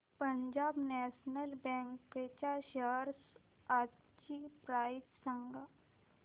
Punjab national bank च्या shares आजची price सांगा